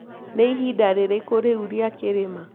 nĩĩhĩnda rĩrĩkũ riũ rĩa kĩrĩma